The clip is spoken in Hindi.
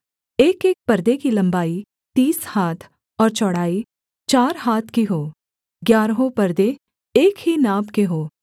एकएक परदे की लम्बाई तीस हाथ और चौड़ाई चार हाथ की हो ग्यारहों परदे एक ही नाप के हों